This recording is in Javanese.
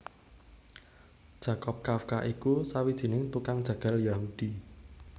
Jakob Kafka iku sawijining tukang jagal Yahudi